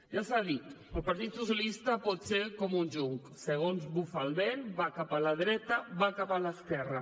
ja s’ha dit el partit socialista pot ser com un jonc segons bufa el vent va cap a la dreta va cap a l’esquerra